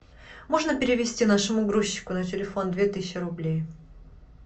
можно перевести нашему грузчику на телефон две тысячи рублей